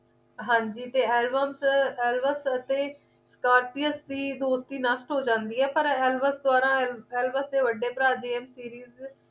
ਹਾਂ ਜੀ ਤੇ alves alves ਅਤੇ scorpies ਦੀ ਦੋਸਤੀ ਨਸ਼ਟ ਹੋ ਜਾਂਦੀ ਹੈ ਪਰ alves ਦੇ ਦੁਆਰਾ alvas ਦੇ ਵੱਡੇ ਭਰਾ james series